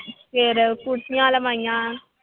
ਫਿਰ ਕੁਰਸੀਆਂ ਲਵਾਈਆਂ।